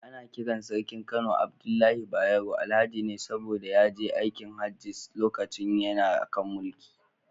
Ana kiran Sarkin Kano Abdullahi Bayero, Alhaji ne saboda ya je aikin Hajji lokacin yana kan mulki.